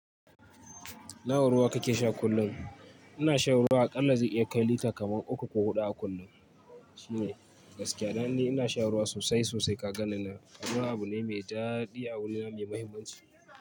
Nawa ruwa kake sha kullum? Ina shan ruwa a ƙalla ze iyakai lita kamar uku ko huɗu a kullum. Gaskiya danni ina shan ruwa sosai sosai ka ganni nan. Ruwa abune mai dadi a wurina, mai mahimmanci.